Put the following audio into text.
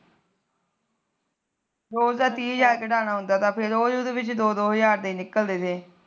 ਰੋਜ ਦਾ ਤਿਹ ਹਜਾਰ ਕਢਾਣਾ ਹੁੰਦਾ ਤਾ ਫਿਰ ਉਹ ਰੋਜ ਦੇ ਦੋ ਦੋ ਹਜਾਰ ਦੇ ਨਿਕਲਦੇ ਤੇ